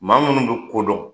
Maa minnu bɛ ko don kodɔn.